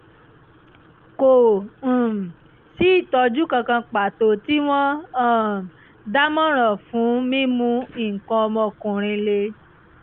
kò um sí ìtọ́jú kan kan pàtó tí wọ́n um dámọ̀ràn fún mímú nǹkan ọmọkùnrin le